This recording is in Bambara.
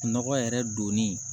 Nɔgɔ yɛrɛ donni